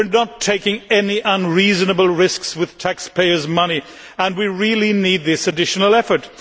We are not taking any unreasonable risks with taxpayers' money and we really need this additional effort.